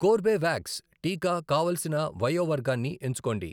Corbevax టీకా కావలసిన వయో వర్గాన్ని ఎంచుకోండి.